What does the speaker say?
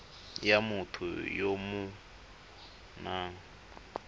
ya motho ya o nang